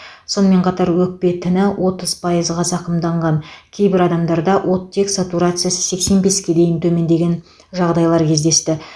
сонымен қатар өкпе тіні отыз пайызға зақымданған кейбір адамдарда өттек сатурациясы сексен беске дейін төмендеген жағдайлар кездесті